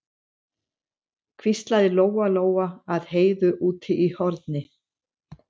hvíslaði Lóa-Lóa að Heiðu úti í horni.